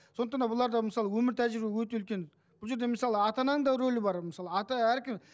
сондықтан да бұларда мысалы өмір тәжірибе өте үлкен бұл жерде мысалы ата ананың да рөлі бар мысалы ата әркім